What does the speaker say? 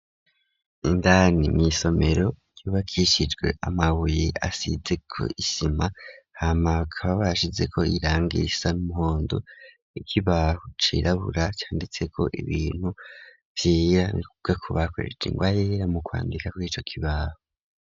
Indani mw' isomero, yubakishijwe amabuye asize kw'isima, hama kaba asize ko irangi risa N'umuhondo, ikibaho cirabura, canditse ko ibintu vyera, nikuvuga kobakoresheje ingwa yera mu kwandika kw'ico kibaho.